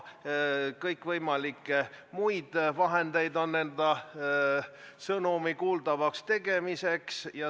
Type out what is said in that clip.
On kõikvõimalikke muid vahendeid enda sõnumi kuuldavaks tegemiseks.